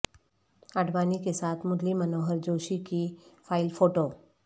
اڈوانی کے ساتھ مرلی منوہر جوشی کی فائل فوٹو